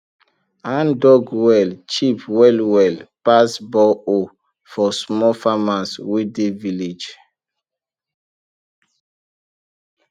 handdug well cheap well well pass borehole for small farmers wey dey village